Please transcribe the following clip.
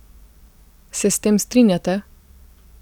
Se s tem strinjate?